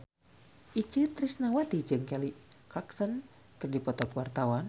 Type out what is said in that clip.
Itje Tresnawati jeung Kelly Clarkson keur dipoto ku wartawan